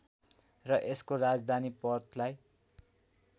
र यसको राजधानी पर्थलाई